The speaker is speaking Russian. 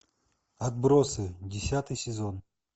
отбросы десятый сезон